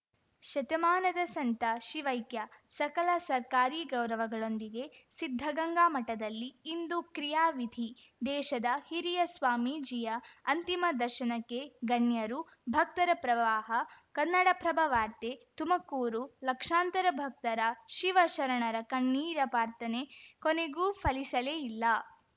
ಶತಮಾನದ ಸಂತ ಶಿವೈಕ್ಯ ಸಕಲ ಸರ್ಕಾರಿ ಗೌರವಗಳೊಂದಿಗೆ ಸಿದ್ಧಗಂಗಾ ಮಠದಲ್ಲಿ ಇಂದು ಕ್ರಿಯಾವಿಧಿ ದೇಶದ ಹಿರಿಯ ಸ್ವಾಮೀಜಿಯ ಅಂತಿಮ ದರ್ಶನಕ್ಕೆ ಗಣ್ಯರು ಭಕ್ತರ ಪ್ರವಾಹ ಕನ್ನಡಪ್ರಭ ವಾರ್ತೆ ತುಮಕೂರು ಲಕ್ಷಾಂತರ ಭಕ್ತರ ಶಿವಶರಣರ ಕಣ್ಣೀರ ಪ್ರಾರ್ಥನೆ ಕೊನೆಗೂ ಫಲಿಸಲೇ ಇಲ್ಲ